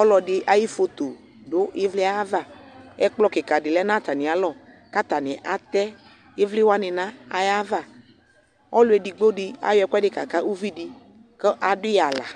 ɔlɔdɩ ayʋ foto dʋ ɩvlɩ yɛ ava Ɛkplɔ kɩka dɩ lɛ nʋ atamɩalɔ kʋ atanɩ atɛ ɩvlɩ wanɩ nʋ ayava Ɔlʋ edigbo dɩ ayɔ ɛkʋɛdɩ kaka uvi dɩ kʋ adʋ yɩ aɣla